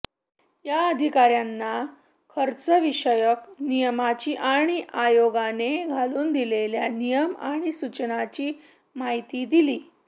या अधिकाऱ्यांना खर्चविषयक नियमांची आणि आयोगाने घालून दिलेल्या नियम आणि सूचनांची माहिती दिली